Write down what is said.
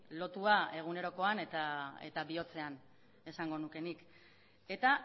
lotua egunerokoan eta bihotzean esango nuke nik eta